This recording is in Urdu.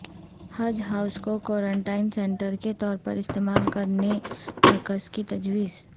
حج ہائوز کو کورنٹائن سنٹر کے طور پر استعمال کرنے مرکز کی تجویز